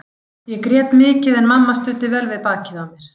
Ég grét mikið en mamma studdi vel við bakið á mér.